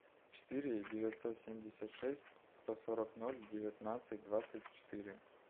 четыре девятьсот семьдесят шесть сто сорок ноль девятнадцать двадцать четыре